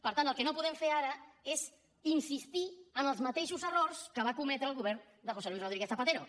per tant el que no podem fer ara és insistir en els mateixos errors que va cometre el govern de josé luis rodríguez zapatero